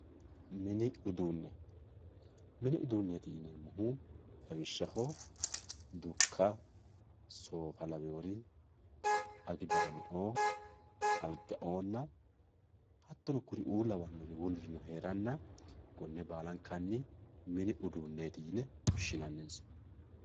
mini uduunne mini uduunneeti yineemmohu lawishshaho dukka soofa lawewoore agidaame"oo alga"oonna hattono kuri"uu lawinori wolirino heeranna konne baalankanni mini uduunneeti yine woshshinannisa.